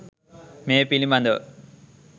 මේ පිළිබඳව